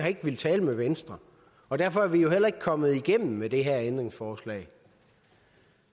ikke villet tale med venstre og derfor er vi jo heller ikke kommet igennem med det her ændringsforslag